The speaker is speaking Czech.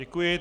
Děkuji.